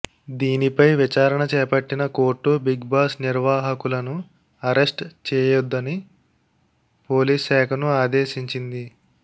దీనిపై విచారణ చేపట్టిన కోర్టు బిగ్ బాస్ నిర్వాహకులను అరెస్ట్ చేయొద్దని పోలీస్ శాఖను ఆదేశించింది